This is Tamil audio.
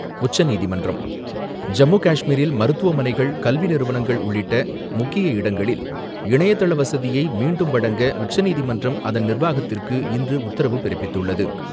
உச்சநீதிமன்றம் ஜம்முகாஷ்மீரில் மருத்துவமனைகள், கல்விநிறுவனங்கள் உள்ளிட்ட முக்கிய இடங்களில் இணையதள வசதியை மீண்டும் வழங்க, உச்சநீதிமன்றம் அதன் நிர்வாகத்திற்கு இன்று உத்தரவு பிறப்பித்துள்ளது.